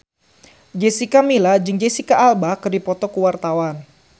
Jessica Milla jeung Jesicca Alba keur dipoto ku wartawan